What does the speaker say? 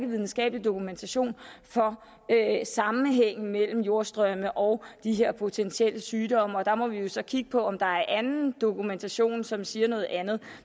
videnskabelig dokumentation for sammenhængen mellem jordstrømme og de her potentielle sygdomme og der må vi jo så kigge på om der er anden dokumentation som siger noget andet